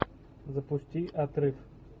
запусти отрыв